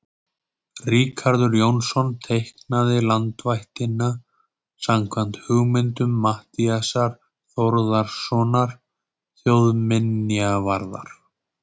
Ríkharður Jónsson teiknaði landvættina samkvæmt hugmyndum Matthíasar Þórðarsonar þjóðminjavarðar.